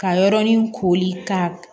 Ka yɔrɔnin kori ka